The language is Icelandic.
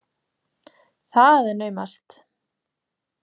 Það er naumast!